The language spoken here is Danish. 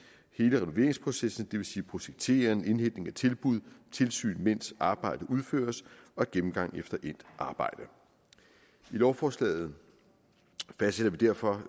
renoveringsprocessen det vil sige projektering indhentning af tilbud tilsyn mens arbejdet udføres og gennemgang efter endt arbejde i lovforslaget fastsætter vi derfor